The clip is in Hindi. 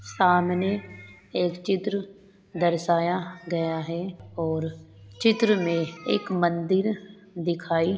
सामने एक चित्र दर्शाया गया है और चित्र मे एक मंदिर दिखाई-